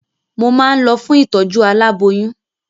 Mo máa ń lọ fún ìtọ̀jú alábóyún.